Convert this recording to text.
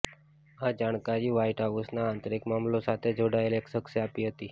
આ જાણકારી વ્હાઇટ હાઉસના આંતરિક મામલા સાથે જોડાયેલા એક શખ્શે આપી હતી